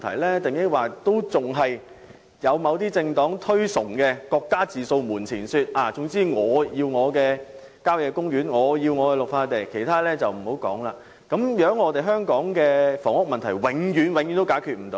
抑或有人認為應採取某些政黨所推崇"各家自掃門前雪"的做法，總之"我要我的郊野公園，我要我的綠化地"，其他的便無須多說，這樣香港的房屋問題將永遠無法解決。